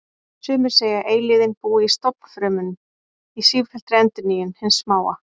Sumir segja að eilífðin búi í stofnfrumum, í sífelldri endurnýjun hins smáa.